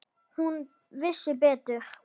Hún vissi betur.